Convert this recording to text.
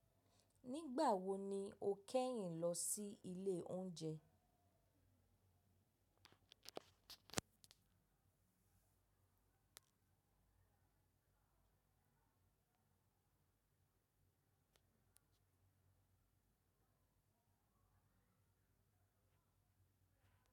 Nígbà wo ni o kẹ́yìn lọ sí ilé oúnjẹ?